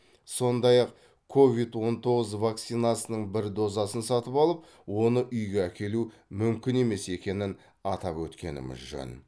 сондай ақ ковид он тоғыз вакцинасының бір дозасын сатып алып оны үйге әкелу мүмкін емес екенін атап өткеніміз жөн